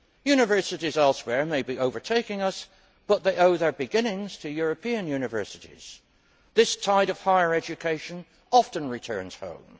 Universities elsewhere may be overtaking us, but they owe their beginnings to European universities. This tide of higher education often returns home.